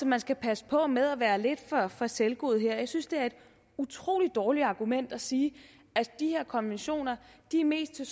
man skal passe på med at være lidt for selvgod her jeg synes det er et utrolig dårligt argument at sige at de her konventioner mest er